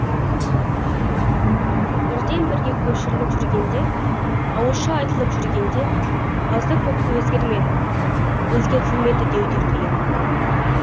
бірден бірге көшіріліп жүргенде ауызша айтылып жүргенде азды көпті өзгермеді өзгертілмеді деу де қиын